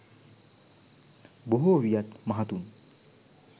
බොහෝ වියත් මහතුන්